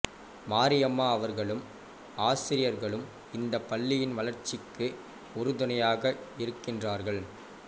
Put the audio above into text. மாரியம்மா அவர்களும் ஆசிரியர்களும் இந்தப் பள்ளியின் வளர்ச்சிக்கு உறுதுணையாக இருக்கிறார்கள்